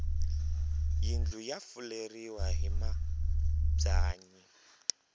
yindlu ya fuleriwa hi mabyanyi